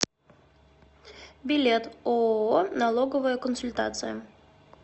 билет ооо налоговая консультация